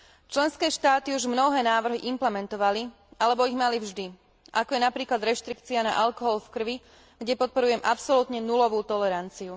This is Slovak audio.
Členské štáty už mnohé návrhy implementovali alebo ich mali vždy, ako je napríklad reštrikcia na alkohol v krvi, kde podporujem absolútne nulovú toleranciu.